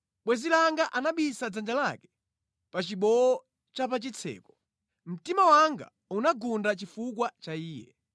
Bwenzi langa anapisa dzanja lake pa chibowo cha pa chitseko; mtima wanga unagunda chifukwa cha iye.